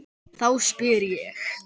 Þá spyr ég.